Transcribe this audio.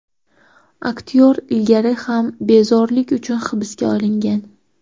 Aktyor ilgari ham bezorilik uchun hibsga olingan.